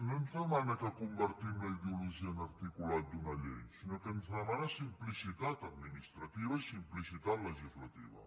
no ens demana que convertim la ideologia en articulat d’una llei sinó que ens demana simplicitat administrativa i simplicitat legislativa